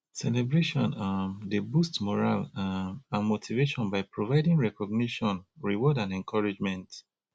celebration um dey boost morale um and motivation by providing recognition reward and encouragement